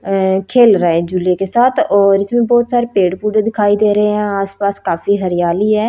अह खेल रहे हैं झूले के साथ और इसमें बहुत सारे पेड़ पौधे दिखाई दे रहे हैं यहां आसपास काफी हरियाली है।